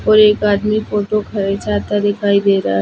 --और एक आदमी फोटो खिचाता दिखाई दे रहा--